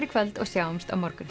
í kvöld og sjáumst á morgun